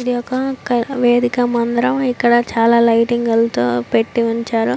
ఇది ఒక వేదిక మందిరం ఇక్కడ చాలా లైటింగ్ లతో పెట్టి ఉంచారు